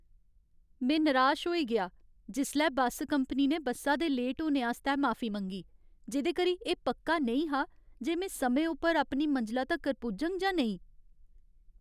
में निराश होई गेआ जिसलै बस्स कंपनी ने बस्सा दे लेट होने आस्तै माफी मंगी, जेह्दे करी एह् पक्का नेईं हा जे में समें उप्पर अपनी मंजला तक्कर पुज्जङ जां नेईं।